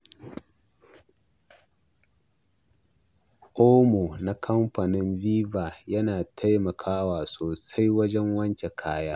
Omo na kamfanin Viva yana taimakawa sosai wajen wanke kaya.